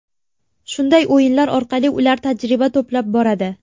Shunday o‘yinlar orqali ular tajriba to‘plab boradi.